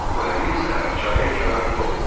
O həmin səhər çayın kənarında olub.